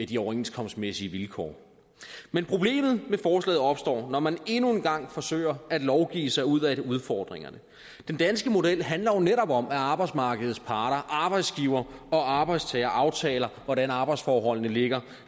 de overenskomstmæssige vilkår men problemet med forslaget opstår når man endnu en gang forsøger at lovgive sig ud af udfordringerne den danske model handler jo netop om at arbejdsmarkedets parter arbejdsgiver og arbejdstager aftaler hvordan arbejdsforholdene ligger